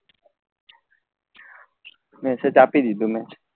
message આપી દીધો મેં